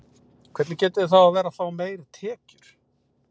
Hvernig getið þið þá verið að fá meiri tekjur?